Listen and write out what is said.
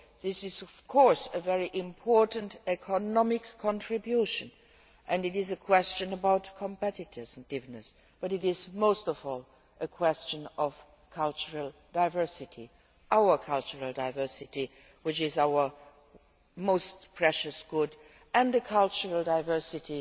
This is, of course, a very important economic contribution. It is a question of competitiveness, but it is most of all a question of cultural diversity our cultural diversity which is our most precious good, and the cultural diversity